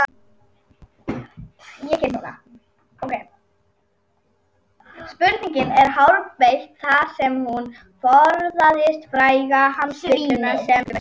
Spurningin er hárbeitt þar sem hún forðast fræga hugsanavillu sem stundum er kennd við sundfólk.